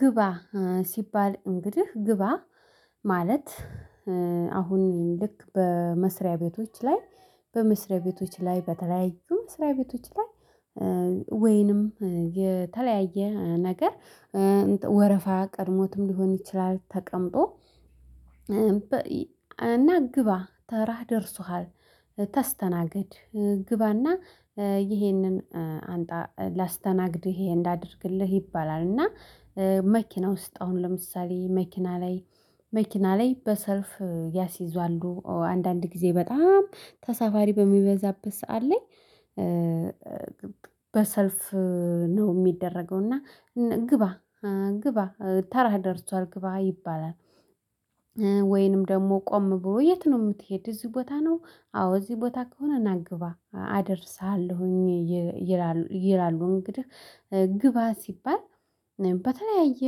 ግባ ስባል እንግዲህ ግባ ማለት አሁን ልክ በመስሪያ ቤቶች ላይ በመስሪያ ቤቶች ላይ በተለያዩ መስሪያ ቤቶች ላይ ወይንም የተለያየ ነገር ወረፋ ቀድሞትም ልሆን ይችላል ተቀምጦ እና ግባ ተራ ደርሶሃል ተስተናገድ ግባና ይሄንን አንጣ ላስተናግድህ እህንን እንዳደርግልህ ይባላል። እና መክና ውስጥ አሁን ለምሳሌ መክና ላይ መክና ላይ በሰልፍ ያስይዟሉ አንዳንድ ጊዜ በጣም ተሳፋሪ በሚበዛበት ሰዓት ላይ በሰልፍ ነው ሚደረገው። እና ግባ ግባ ተራ ደርሷል ግባ ይባላል። ወይንም ደግሞ ቆም ብለው የት ነው ምትሄድ? እዚህ ቦታ ነው አዎ እዚህ ቦታ ከሆነ ና ግባ አደርሰሃለሁኝ ይላሉ። እንግዲህ ግባ ስባል በተለያየ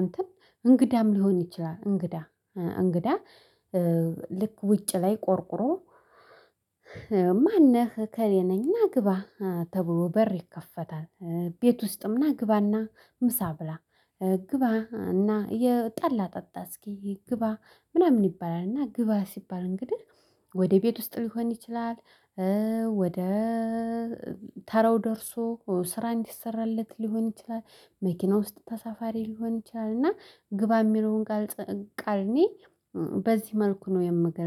እንትን እንግዳም ልሆን ይችላል። እንግዳ እንግዳ ልክ ውጭ ላይ ቆርቁሮ ማን ነህ እከለ ነኝ። ና ግባ ተብሎ በር ይከፈታል። ቤት ውስጥም ና ግባና ምሳ ብላ ግባ እና ጠላ ጤጣ እስክ ግባ ምናምን ይባላል። እና ግባ ስባል እንግዲህ ወደ ቤት ውስጥ ልሆን ይችላል። ወደ ተራው ደርሶ ስራ እንዲሰራለት ልሆን ይችላል። መክና ውስጥ ተሳፋሪ ልሆን ይችላልና ግባ የሚለውን ቃል ቃል እኔ በዚህ መልኩ ነው የምገልጸው